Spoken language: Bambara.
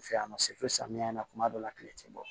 Fɛ yan nɔ samiyɛ in na kuma dɔ la kile tɛ bɔ